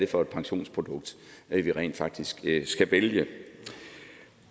for et pensionsprodukt vi rent faktisk skal vælge